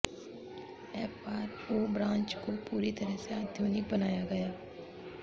FRO branch को पूरी तरह से आधुनिक बनाया गया है